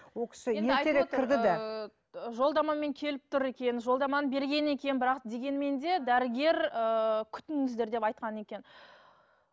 жолдамамен келіп тұр екен жолдаманы берген екен бірақ дегенмен де дәрігер ііі күтіңіздер деп айтқан екен